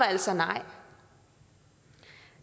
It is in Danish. altså nej